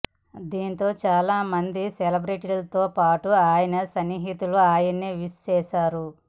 దీంతో చాలా మంది సెలబ్రేటి లతో పాటు అయన సన్నిహితులు ఆయన్ని విష్ చేశారు